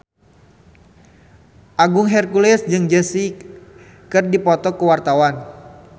Agung Hercules jeung Jessie J keur dipoto ku wartawan